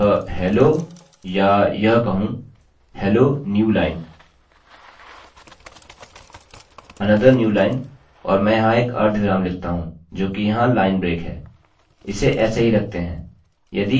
यह hello या यह कहूँ hello new line another new line और मैं यहाँ एक अर्धविराम लिखता हूँ जोकि यहाँ लाइन ब्रेक है